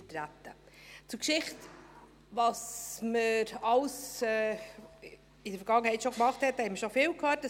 Zur Geschichte, was man in der Vergangenheit alles schon gemacht hat, haben wir schon viel gehört.